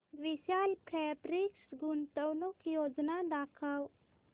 विशाल Fabrics गुंतवणूक योजना दाखव